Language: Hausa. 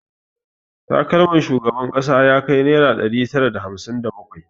Takalmar shugaban kasa ya kai naira ɗari tara da hamsin da bakwai